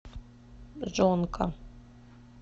джонка